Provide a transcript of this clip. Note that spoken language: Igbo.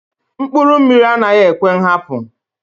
Mkpụrụ mmiri anaghị ekwe nhapu.